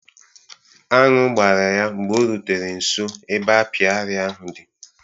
Añụ gbara ya mgbe o rutere nso ebe apịary ahụ di